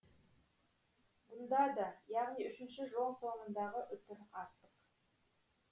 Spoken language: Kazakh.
бұнда да яғни үшінші жол соңындағы үтір артық